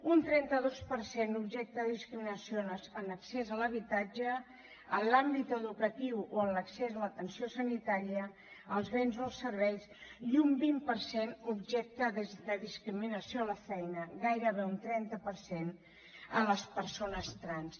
un trenta dos per cent objecte de discriminació en accés a l’habitatge en l’àmbit educatiu o en l’accés a l’atenció sanitària als béns o als serveis i un vint per cent objecte de discriminació a la feina gairebé un trenta per cent a les persones trans